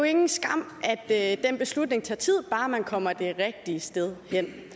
ingen skam at den beslutning tager tid bare man kommer det rigtige sted hen